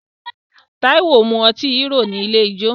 Táíwò mu ọtí Hero ní ilé ijó